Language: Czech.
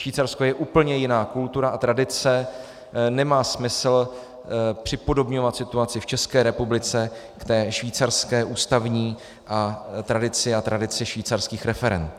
Švýcarsko je úplně jiná kultura a tradice, nemá smysl připodobňovat situaci v České republice k té švýcarské ústavní tradici a tradici švýcarských referend.